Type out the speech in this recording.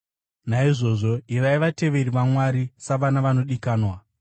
Naizvozvo, ivai vateveri vaMwari, savana vanodikanwa